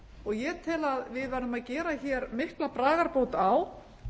ferðamálin ég tel að við verðum að gera hér mikla bragarbót á